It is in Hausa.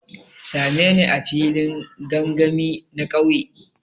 Sa me ni a filin gangami na kauye.